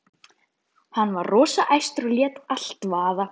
Hann var rosa æstur og lét allt vaða.